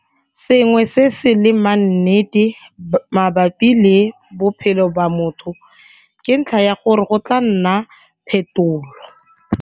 Sengwe se se leng maannetenete mabapi le bophelo ba motho ke ntlha ya gore go tla nna phetolo.